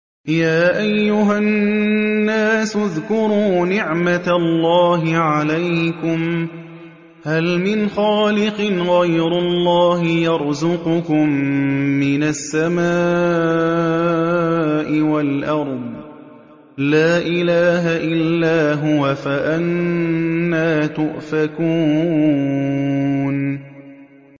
يَا أَيُّهَا النَّاسُ اذْكُرُوا نِعْمَتَ اللَّهِ عَلَيْكُمْ ۚ هَلْ مِنْ خَالِقٍ غَيْرُ اللَّهِ يَرْزُقُكُم مِّنَ السَّمَاءِ وَالْأَرْضِ ۚ لَا إِلَٰهَ إِلَّا هُوَ ۖ فَأَنَّىٰ تُؤْفَكُونَ